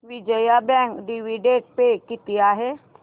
Vijaya bank dividend pay किती आहे